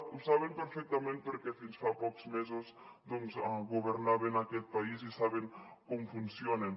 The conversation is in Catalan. ho saben perfectament perquè fins fa pocs mesos governaven aquest país i saben com funcionen